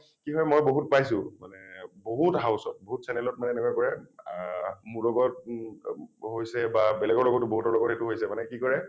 কি হয় মই বহুত পাইছোঁ , মানে বহুত house ত বহুত channel ত মানে এনেকুৱা কৰে আ মোৰ লগত উ হৈছে বা বেলেগৰ লগত বহুতৰ লগত এইটো হৈছে মানে কি কৰে